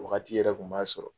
Nin wagati yɛrɛ tun b'a sɔrɔ